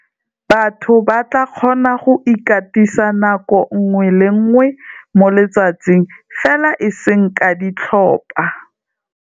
Batho ba tla kgona go ikatisa nako nngwe le nngwe mo letsatsing, fela eseng ka ditlhopha.